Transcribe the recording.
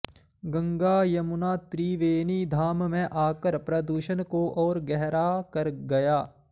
गंगा यमुना त्रिवेणी धाम में आकर प्रदूषण को और गहरा कर गया